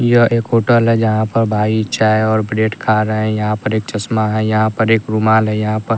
यह एक होटल है जहाँ पर भाई चाय और ब्रेड खा रहे है यहाँ पर एक चश्मा है यहाँ पर एक रुमाल है यहाँ पर --